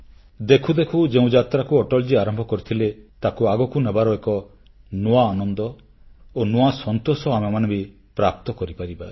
ଦେଖୁ ଦେଖୁ ଯେଉଁ ଯାତ୍ରାକୁ ଅଟଳଜୀ ଆରମ୍ଭ କରିଥିଲେ ତାକୁ ଆଗକୁ ଆଗକୁ ନେବାର ଏକ ନୂଆ ଆନନ୍ଦ ଓ ନୂଆ ସନ୍ତୋଷ ଆମେମାନେ ବି ପ୍ରାପ୍ତ କରିପାରିବା